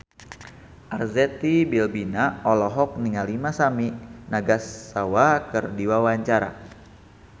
Arzetti Bilbina olohok ningali Masami Nagasawa keur diwawancara